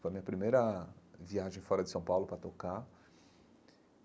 Foi a minha primeira viagem fora de São Paulo para tocar.